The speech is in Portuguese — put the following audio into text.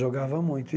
Jogava muito.